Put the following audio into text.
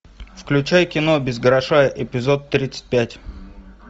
включай кино без гроша эпизод тридцать пять